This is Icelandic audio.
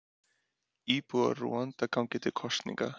Íbúar Rúanda ganga til kosninga